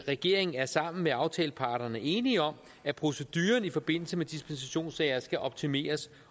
regeringen er sammen med aftaleparterne enige om at proceduren i forbindelse med dispensationssager skal optimeres